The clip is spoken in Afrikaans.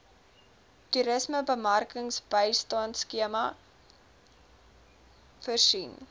toerismebemarkingsbystandskema itmas voorsien